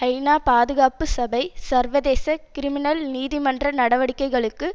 ஐநா பாதுகாப்பு சபை சர்வதேச கிரிமினல் நீதிமன்ற நடவடிக்கைகளுக்கு